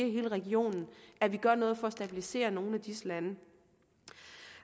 i hele regionen at vi gør noget for at stabilisere nogle af disse lande